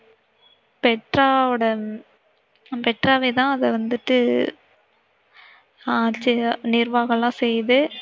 பெட்ராவோட பெட்ராவே தான் அத வந்திட்டு ஆஹ் நிர்வாகம் எல்லாம் செய்யுது.